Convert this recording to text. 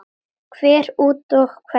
Hver út og hver inn?